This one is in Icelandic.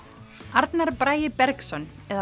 Arnar Bragi Bergsson eða